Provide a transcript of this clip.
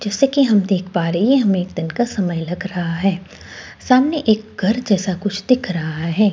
जैसे कि हम देख पा रहे हैं। हमें एक दिन का समय लग रहा है। सामने एक घर जैसा कुछ दिख रहा है।